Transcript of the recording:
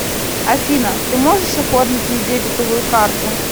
афина ты можешь оформить мне дебетовую карту